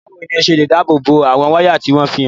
Báwo ni o ṣe lè dáàbò bo àwọn wáyà tí wọ́n ṣe àfihàn?